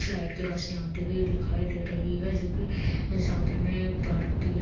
Flat की रोशनी आती हुई दिखाई दे रहीं हैं जो की सामने में पार्क भीं हैं।